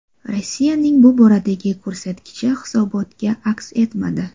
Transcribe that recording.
Rossiyaning bu boradagi ko‘rsatkichi hisobotda aks etmadi.